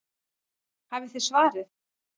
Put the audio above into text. Hafið þið svarið?